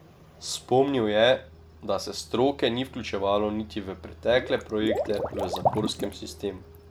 Spomnil je, da se stroke ni vključevalo niti v pretekle projekte v zaporskem sistemu.